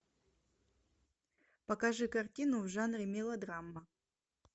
покажи картину в жанре мелодрама